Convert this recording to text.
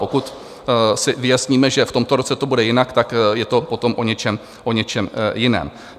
Pokud si vyjasníme, že v tomto roce to bude jinak, tak je to potom o něčem jiném.